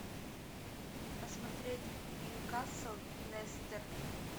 посмотреть ньюкасл лестер